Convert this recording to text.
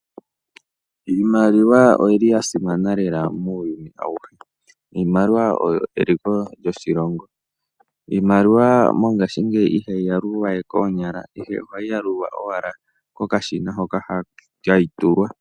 Iimaliwa oyili yasimana lela muuyuni awuhe. Oyo eliko lyoshilongo mopaife ihayi yalulwa we koonyala, ihe ohayi yalulwa mokashina moka hayi tulwa.